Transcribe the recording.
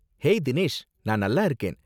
Hey Dinesh! நான் நல்லா இருக்கேன்.